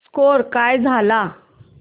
score काय झाला